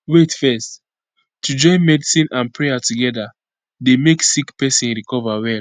wait fezz to join medicine and prayer together dey make sick pesin recover well